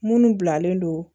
Munnu bilalen don